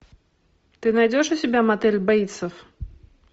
ты найдешь у себя мотель бейтсов